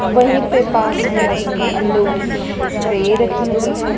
वहीं पे पास में अंडों की ट्रे रखी हुई है।